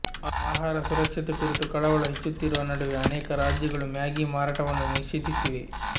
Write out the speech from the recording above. ಆಹಾರ ಸುರಕ್ಷತೆ ಕುರಿತು ಕಳವಳ ಹೆಚ್ಚುತ್ತಿರುವ ನಡುವೆ ಅನೇಕ ರಾಜ್ಯಗಳು ಮ್ಯಾಗಿ ಮಾರಾಟವನ್ನು ನಿಷೇಧಿಸಿವೆ